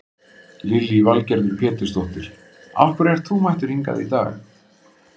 Lillý Valgerður Pétursdóttir: Af hverju ert þú mættur hingað í dag?